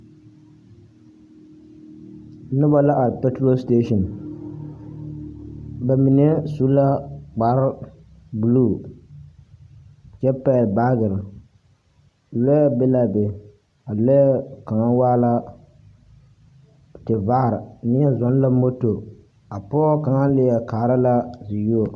Noba la are paturo seteesini. Ba mine su la kpare-buluu, kyɛ pɛgle baagere. Lɔɛ be la a be. A lɔɛ kaŋa waa la, tevaare. Neɛ zɔŋ la moto. A pɔgɔ kaŋa leɛ kaara la ziyuo.